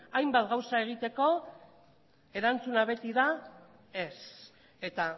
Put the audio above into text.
hainbat gauza egiteko erantzuna beti da ez eta